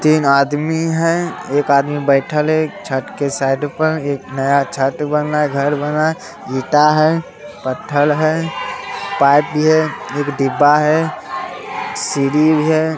तीन आदमी है एक आदमी बइठल है | छत के साईड पर एक नया छत बन रहा है घर बन रहा है | ईटा है पत्थर है पाइप भी है एक डिब्बा है सीढ़ी भी है।